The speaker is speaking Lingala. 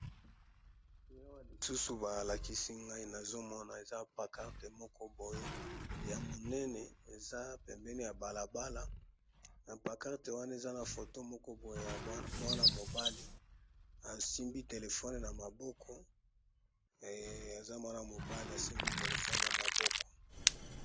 Eloko lisusu balakisi ngai nazomona eza pancarte moko boye ya munene eza pembeni ya balabala ,na pancarte wana eza na foto moko boye ya mwana mobali asimbi telefone na maboko, eeh aza mwana mobali asimbi telefone na maboko.